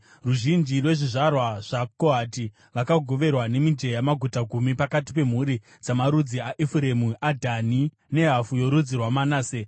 Ruzhinji rwezvizvarwa zvaKohati vakagoverwa nemijenya maguta gumi pakati pemhuri dzamarudzi aEfuremu, aDhani nehafu yorudzi rwaManase.